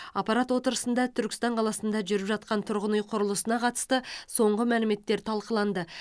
аппарат отырысында түркістан қаласында жүріп жатқан тұрғын үй құрылысына қатысты соңғы мәліметтер талқыланды